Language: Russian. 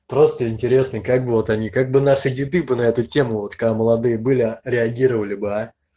просто интересно как бы вот они как бы наши деды бы на эту тему вот когда молодые были реагировали бы а